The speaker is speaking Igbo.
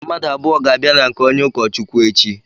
Mmadụ abụọ ga-abịa na nke onye ụkọ Chukwu echi.